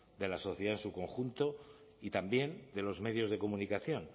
de la sociedad en su conjunto y también de los medios de comunicación